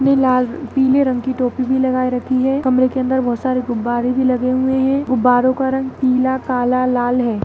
यह लाल रंग पीले रंग की टोपी भी लगाए रखी है कमरे के अंदर बहोत सारे गुब्बारे भी लगे हुए हैं गब्बरो का रंग पीला काला लाल है।